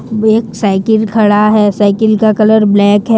एक साइकिल खड़ा है साइकिल का कलर ब्लैक है।